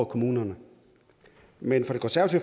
kommunerne men